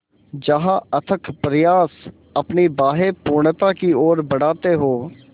जहाँ अथक प्रयास अपनी बाहें पूर्णता की ओर बढातें हो